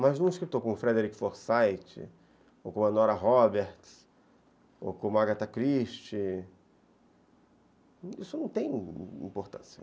Mas um escritor como Frederic Forsythe, ou como Nora Roberts, ou como Agatha Christie, isso não tem importância.